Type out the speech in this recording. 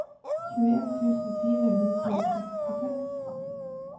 tjueen tusen fire hundre og sekstiseks